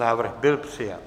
Návrh byl přijat.